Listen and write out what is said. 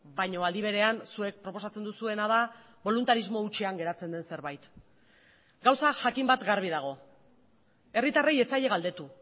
baina aldi berean zuek proposatzen duzuena da boluntarismo hutsean geratzen den zerbait gauza jakin bat garbi dago herritarrei ez zaie galdetu